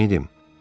Neydim?